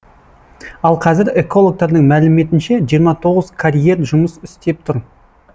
ал қазір экологтардың мәліметінше жиырма тоғыз карьер жұмыс істеп тұр